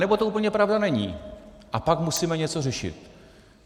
Anebo to úplně pravda není, a pak musíme něco řešit.